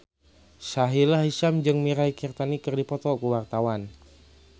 Sahila Hisyam jeung Mirei Kiritani keur dipoto ku wartawan